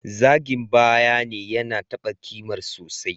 Zagin bayyane yana taba kimar sosai.